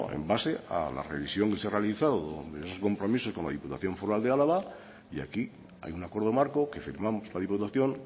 en base a la revisión que se ha realizado de esos compromisos con la diputación foral de álava y aquí hay un acuerdo marco que firmamos la diputación